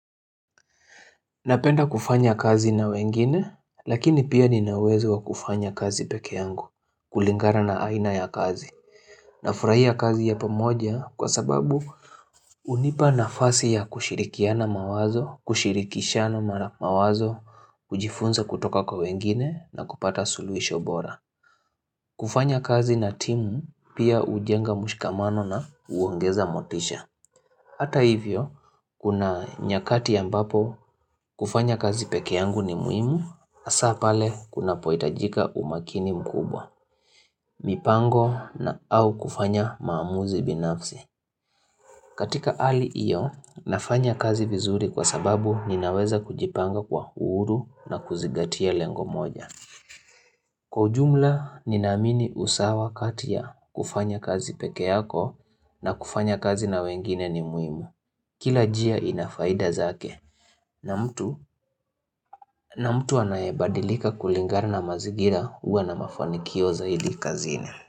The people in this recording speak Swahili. Napenda kufanya kazi na wengine, lakini pia nina uwezo wa kufanya kazi pekee yangu, kulingana na aina ya kazi. Nafurahia kazi ya pamoja kwa sababu unipa nafasi ya kushirikiana mawazo, kushirikishana mawazo, kujifunza kutoka kwa wengine na kupata suluhisho bora. Kufanya kazi na timu pia hujenga mshikamano na uongeza motisha. Hata hivyo, kuna nyakati ambapo kufanya kazi pekee yangu ni muhimu, hasa pale kunapoitajika umakini mkubwa, mipango au kufanya maamuzi binafsi. Katika ali hiyo, nafanya kazi vizuri kwa sababu ninaweza kujipanga kwa uhuru na kuzingatia lengo moja. Kwa ujumla, ninaamini usawa kati ya kufanya kazi pekee yako na kufanya kazi na wengine ni muimu. Kila njia ina faida zake. Na mtu, na mtu anayabadilika kulingana na mazingira huwa na mafanikio zaidi kazini.